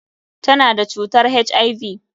Ta na da cutar HIV.